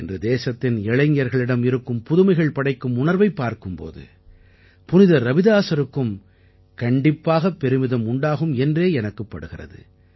இன்று தேசத்தின் இளைஞர்களிடம் இருக்கும் புதுமைகள் படைக்கும் உணர்வைப் பார்க்கும் போது புனிதர் ரவிதாஸருக்கும் கண்டிப்பாகப் பெருமிதம் உண்டாகும் என்றே எனக்குப் படுகிறது